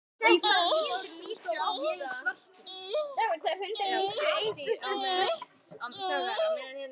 Manstu að muna?